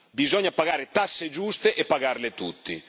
Bisogna pagare tasse giuste e pagarle tutti.